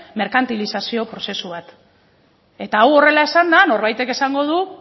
merkantilizazio prozesu bat eta hau horrela esanda norbaitek esango du